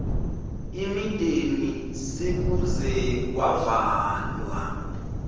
imideni sekuze kwavalwa